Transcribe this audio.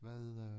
Hvad øh